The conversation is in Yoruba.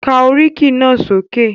Ka oríkì náà sókè!